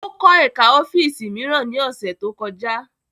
Ó kọ́ ẹ̀ká ọ́fíìsì mìíràn ní ọ̀sẹ̀ tó kọjá